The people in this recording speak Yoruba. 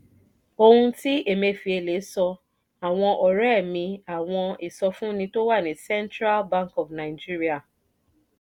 ohun tí emefiele sọ: àwọn ọ̀rẹ́ mi àwọn ìsọfúnni tó wà ní central bank of nigeria